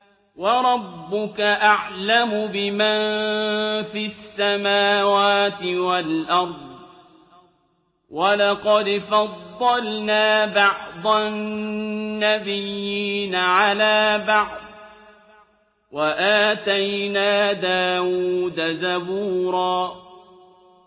وَرَبُّكَ أَعْلَمُ بِمَن فِي السَّمَاوَاتِ وَالْأَرْضِ ۗ وَلَقَدْ فَضَّلْنَا بَعْضَ النَّبِيِّينَ عَلَىٰ بَعْضٍ ۖ وَآتَيْنَا دَاوُودَ زَبُورًا